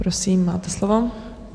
Prosím, máte slovo.